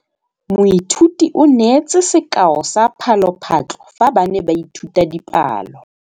Moithuti o neetse sekaô sa palophatlo fa ba ne ba ithuta dipalo.